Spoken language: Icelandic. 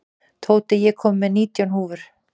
Tóti, ég kom með nítján húfur!